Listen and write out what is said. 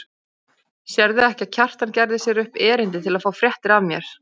Sérðu ekki að Kjartan gerði sér upp erindi til að fá fréttir af mér.